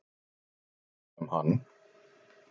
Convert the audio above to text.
Hugsa um hann.